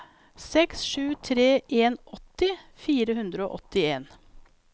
seks sju tre en åtti fire hundre og åttien